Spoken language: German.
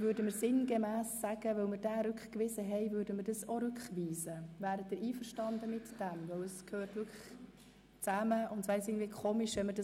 Können wir demgemäss von Folgendem ausgehen: Weil wir Artikel 31e zurückgewiesen haben, weisen wir auch diesen Buchstaben in die Kommission zurück?